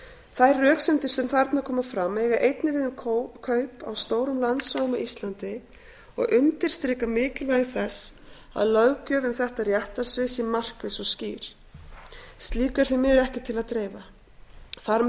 þær röksemdir sem þarna koma fram eiga einnig við um kaup á stórum landsvæðum á íslandi og undirstrika mikilvægi þess að löggjöf um þetta réttarsvið sé markviss og skýr slíku er því miður ekki til að dreifa þar með